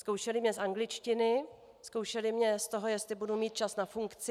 Zkoušeli mě z angličtiny, zkoušeli mě z toho, jestli budu mít čas na funkci.